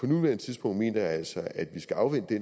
nuværende tidspunkt mener jeg altså at vi skal afvente